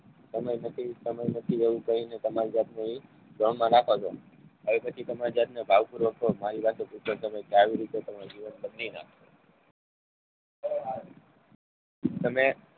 સમય નથી સનાયા નથી એવું કહીને તમારી જાતને એ બ્રહ્મમાં રાખો છો. અને પછી તમારી જાત ને ભાવપૂર્વક કહો મારી વાતું પૂરતો સમય તમે